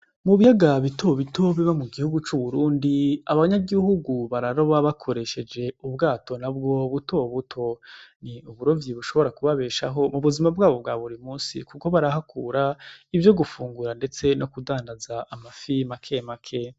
Mu biyaga bitobito biba mu gihugu c'Uburundi, abanyagihugu bararoba bakoresheje ubwato n'abwo butobuto. Ni uburovyi bushobora kubabeshaho mu buzima bwabo bwa buri musi kuko barahakura ivyo gufungura ndetse no kudandaza amafi make make.